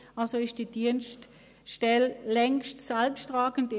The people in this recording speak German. Damit ist diese Dienststelle längst selbsttragend.